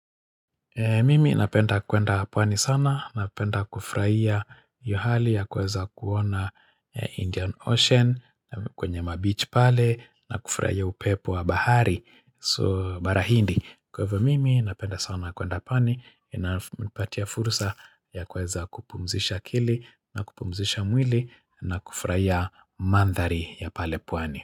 Mimi napenda kwenda pwani sana, napenda kufurahia hio hali ya kuweza kuona Indian Ocean, kwenye mabichi pale, na kufurahia upepo wa bahari, so barahindi. Kwa hivyo, mimi napenda sana kwenda pwani, inapatia fursa ya kuweza kupumzisha akili, na kupumzisha mwili, na kufurahia mandhari ya pale pwani.